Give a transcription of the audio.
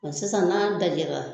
nga sisan n'a dajɛra